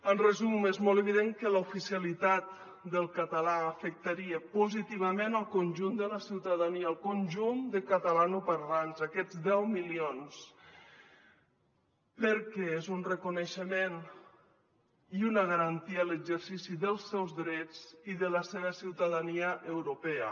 en resum és molt evident que l’oficialitat del català afectaria positivament el conjunt de la ciutadania el conjunt de catalanoparlants aquests deu milions perquè és un reconeixement i una garantia l’exercici dels seus drets i de la seva ciutadania europea